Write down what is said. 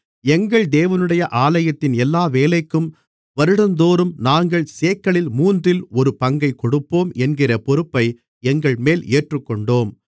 எங்கள் தேவனுடைய ஆலயத்தின் எல்லா வேலைக்கும் வருடந்தோறும் நாங்கள் சேக்கலில் மூன்றில் ஒரு பங்கைக் கொடுப்போம் என்கிற பொறுப்பை எங்கள்மேல் ஏற்றுக்கொண்டோம்